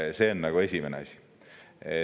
See on esimene asi.